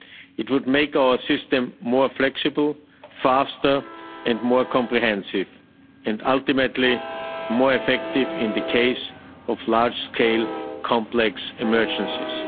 It would make our system more flexible, faster and more comprehensive, and ultimately more effective in the case of large-scale complex emergencies.